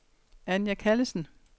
Anja Callesen